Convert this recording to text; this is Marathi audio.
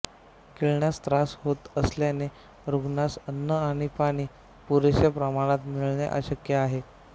गिळण्यास त्रास होत असल्याने रुग्णास अन्न आणि पाणी पुरेशा प्रमाणात मिळणे आवश्यक आहे